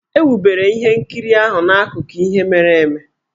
E wubere ihe nkiriahụ n'akụkọ ihe mere eme.